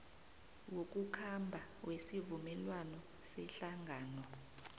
wokukhamba wesivumelwano sehlangano